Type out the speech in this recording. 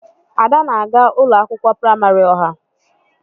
Ada na aga ụlọ akwụkwọ praịmarị ọha.